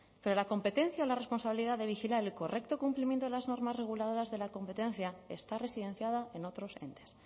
pero la competencia o la responsabilidad de vigilar el correcto cumplimiento de las normas reguladoras de la competencia está residenciada en otros entes